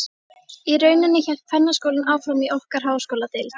Í rauninni hélt kvennaskólinn áfram í okkar háskóladeild.